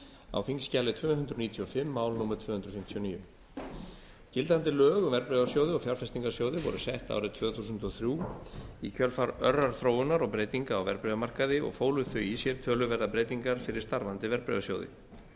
á þingskjali tvö hundruð níutíu og fimm mál númer tvö hundruð fimmtíu og níu gildandi lög um verðbréfasjóði og fjárfestingarsjóði voru sett árið tvö þúsund og þrjú í kjölfar örrar þróunar og breytinga á verðbréfamarkaði og fólu þau í sér töluverðar breytingar fyrir starfandi verðbréfasjóði